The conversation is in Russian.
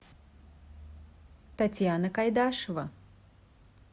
татьяна кайдашева